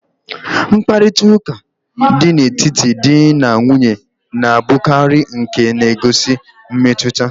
Mkparịtaụka dị n'etiti dị na nwunye na-abụkarị nke na-egosi mmetụta.